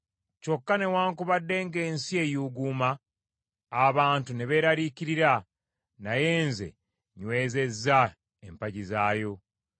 Kyokka newaakubadde ng’ensi eyuuguuma abantu ne beeraliikirira, naye nze nywezezza empagi zaayo.”